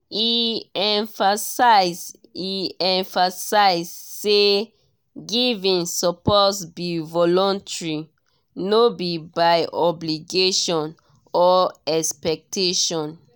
e emphasize e emphasize say giving suppose be voluntary no be by obligation or expectation.